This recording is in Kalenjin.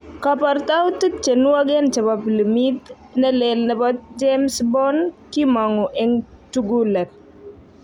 koportoutik che nuogen chebo pilimit nelel nebo James Bond kimongu en tugulet